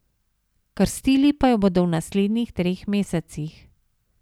Krstili pa jo bodo v naslednjih treh mesecih.